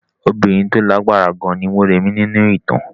Obìnrin tí ó lágbára gan ni Mọ́rẹ̀mí nínú ìtàn.